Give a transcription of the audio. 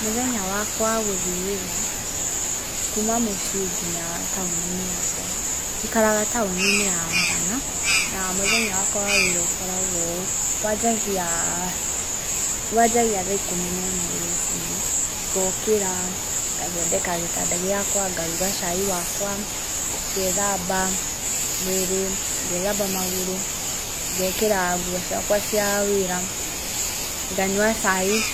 Mũthenya wakwa wagũthiĩ wĩra, kuma mũciĩ nginya taũni-inĩ yakwa, njikaraga taũni-inĩ ya Mũrang'a, na mũthenya wakwa wa wĩra ũkoragwo ũũ: Wanjagia, wanjagia thaa ikũmi na ĩmwe rũcinĩ, ngokĩra ngathondeka gĩtanda gĩakwa, ngaruga cai wakwa, ngethamba mwĩrĩ, ngethamba magũrũ, ngekĩra nguo ciakwa cia wĩra, nganyua caai